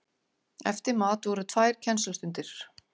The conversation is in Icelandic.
Eftir mat voru tvær kennslustundir.